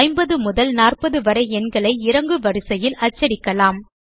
50 முதல் 40 வரை எண்களை இறங்குவரிசையில் அச்சடிக்கலாம்